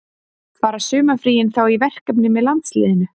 Fara sumarfríin þá í verkefni með landsliðinu?